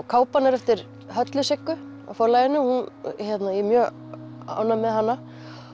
kápan er eftir Höllu Siggu hjá Forlaginu ég er mjög ánægð með hana